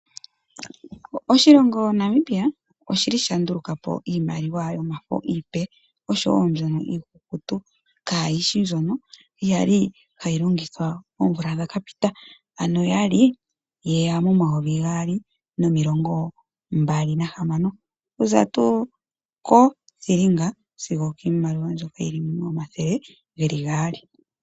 Oshilongo Namibia oshili sha nduluka po iimaliwa yomafo iipe, oshowo mbyono iikukutu. Kaayishi mbyono yali hayi longithwa oomvula dhaka pita, ano yali yeya momayovi gaali nomilongo mbali nahamano. Okuza tuu ko thilinga sigo okiimaliwa mbyoka yili momathele geli gaali.